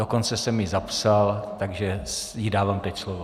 Dokonce jsem ji zapsal, takže jí dávám teď slovo.